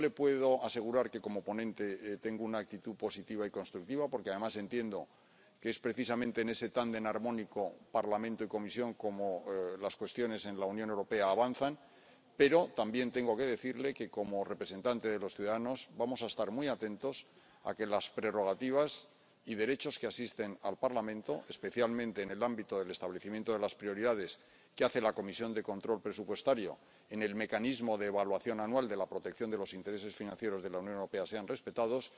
Yo le puedo asegurar que, como ponente, tengo una actitud positiva y constructiva, porque, además, entiendo que es precisamente con ese tándem armónico —Parlamento y Comisión— como avanzan las cuestiones en la Unión Europea, pero también tengo que decirle que, como representantes de los ciudadanos, vamos a estar muy atentos a que las prerrogativas y derechos que asisten al Parlamento, especialmente en el ámbito del establecimiento de las prioridades que hace la Comisión de Control Presupuestario en el mecanismo de evaluación anual de la protección de los intereses financieros de la Unión Europea, sean respetados.